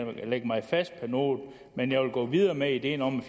lægge mig fast på noget men jeg vil gå videre med ideen om at